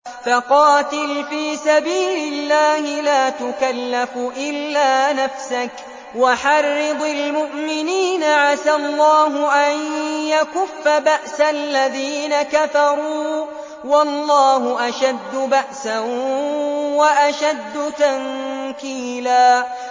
فَقَاتِلْ فِي سَبِيلِ اللَّهِ لَا تُكَلَّفُ إِلَّا نَفْسَكَ ۚ وَحَرِّضِ الْمُؤْمِنِينَ ۖ عَسَى اللَّهُ أَن يَكُفَّ بَأْسَ الَّذِينَ كَفَرُوا ۚ وَاللَّهُ أَشَدُّ بَأْسًا وَأَشَدُّ تَنكِيلًا